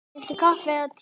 Viltu kaffi eða te?